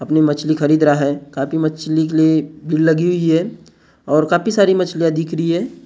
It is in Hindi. अपनी मछली खरीद रहा है काफी मछली के लिए भीड़ लगी हुई है और काफी सारी मछलियाँ दिख रही हैं ।